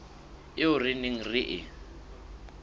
eo re neng re e